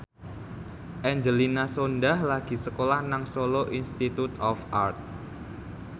Angelina Sondakh lagi sekolah nang Solo Institute of Art